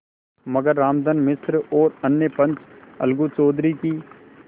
मगर रामधन मिश्र और अन्य पंच अलगू चौधरी की